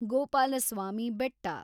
Gopalaswamy Betta